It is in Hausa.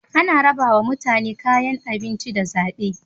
Ana rabawa mutane kayan abinci da zabe